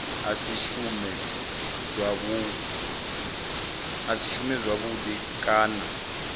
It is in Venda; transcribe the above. a si shume zwavhudi kana